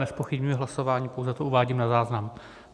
Nezpochybňuji hlasování, pouze to uvádím na záznam.